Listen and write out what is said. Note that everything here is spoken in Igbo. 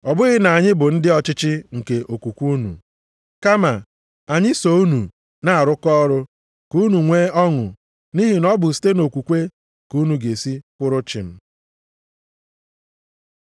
Ọ bụghị na anyị bụ ndị ọchịchị nke okwukwe unu, kama anyị so unu na-arụkọ ọrụ ka unu nwe ọṅụ nʼihi na ọ bụ site nʼokwukwe ka unu ga-esi kwụrụ chịm.